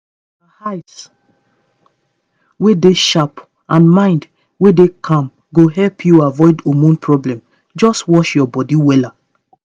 na eyes wey dey sharp and mind wey dey calm go help you avoid hormone problem just watch your bodywella